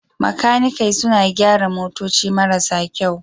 Makanikai suna gyara motoci marasa kyau.